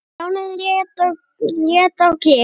Stjáni leit á Geir.